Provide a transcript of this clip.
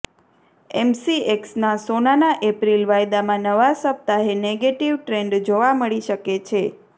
એેમસીએક્સના સોનાના એપ્રિલ વાયદામાં નવા સપ્તાહે નેગેટિવ ટ્રેન્ડ જોવા મળી શકે છે